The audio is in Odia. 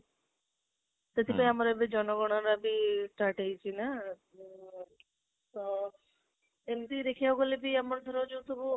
ସେଥିପାଇଁ ଆମ ଜନ ଗଣନାବି ହେଉଇଛି ନା ଅ ତ, ଏମିତି ଦେଖିବା କୁ ଗଲେ ବି ଆମର ଧର ଯୋଉ ସବୁ